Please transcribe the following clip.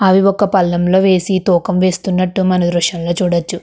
అవి ఒక పళ్లెంలో వేసి తూకం వేస్తున్నట్లు మన దృశ్యంలో చూడొచ్చు.